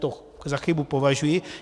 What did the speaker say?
To za chybu považuji.